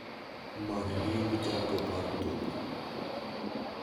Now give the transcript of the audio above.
Many nying jago mar thum ni